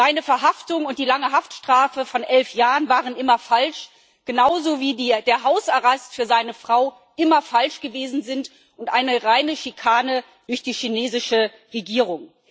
Seine Verhaftung und die lange Haftstrafe von elf Jahren waren immer falsch genauso wie der Hausarrest für seine Frau immer falsch gewesen ist und eine reine Schikane durch die chinesische Regierung.